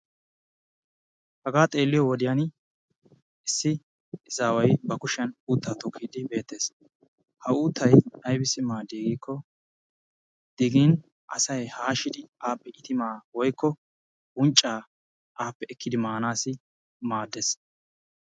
Hagaa xeelliyoo wodiyaan issi izaawaay ba kuushiyan uuttaa tookidi beettees. Ha uuttay aybisi maaddii giikko digin asay haashshidi appe iitimaa woykko unccaa appe ekkidi manaassi maaddees.